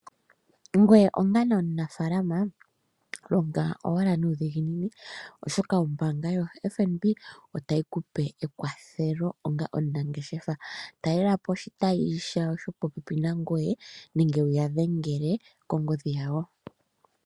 Ngweye onga onamufaalama longa owala nuudhiginini oshoka ombaanga yo FNB ohayi kupe ekwathelo onga omunangeshefa, talela po oshitayi shopopepi nangoye nenge wuya dhengele kongodhi yawo.